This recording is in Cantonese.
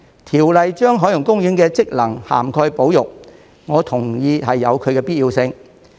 《條例草案》把海洋公園的職能涵蓋保育，我同意有其必要性。